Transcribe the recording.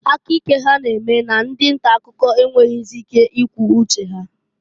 Aka ike ha na-eme na ndị nta akụkọ enwerozi ike ikwu uche ha.